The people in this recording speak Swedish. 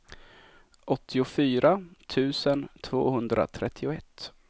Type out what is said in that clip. åttiofyra tusen tvåhundratrettioett